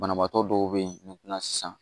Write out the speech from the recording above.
Banabaatɔ dɔw be yen sisan